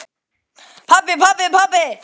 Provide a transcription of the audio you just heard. Pabbi, pabbi, pabbi.